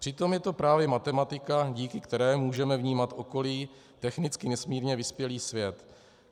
Přitom je to právě matematika, díky které můžeme vnímat okolí, technicky nesmírně vyspělý svět.